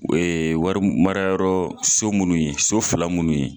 Ee wari marimarayɔrɔ so munnu ye so fila munnu ye